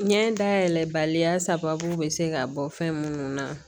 Ɲɛ dayɛlɛ baliya sababu bɛ se ka bɔ fɛn munnu na